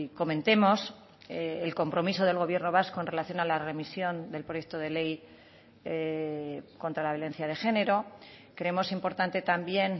comentemos el compromiso del gobierno vasco en relación a la remisión del proyecto de ley contra la violencia de género creemos importante también